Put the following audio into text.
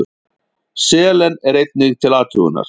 Selen er einnig til athugunar.